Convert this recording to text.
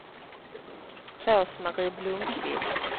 Rose-Marie Blomqvist